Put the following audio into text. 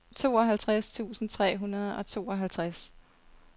tooghalvtreds tusind tre hundrede og tooghalvtreds